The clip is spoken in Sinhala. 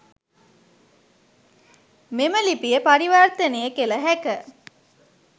මෙම ලිපිය පරිවර්තනය කළ හැක.